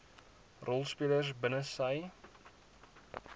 rolspelers binne sy